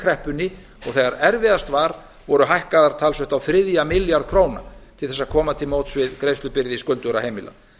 kreppunni og þegar erfiðast var voru hækkaðar talsvert á þriðja milljarð króna til að koma til móts við greiðslubyrði skuldugra heimila